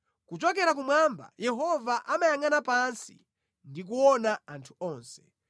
Kuchokera kumwamba Yehova amayangʼana pansi ndi kuona anthu onse;